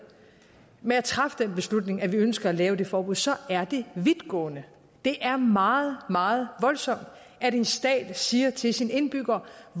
med at træffe den beslutning at vi ønsker at lave det forbud så er det vidtgående det er meget meget voldsomt at en stat siger til sine indbyggere